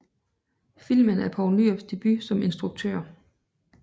Filmen er Poul Nyrups debut som instruktør